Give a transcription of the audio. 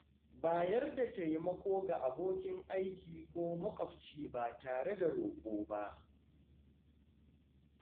Bayar da taimako ga abokin aiki ko maƙwabci ba tare da roƙo ba.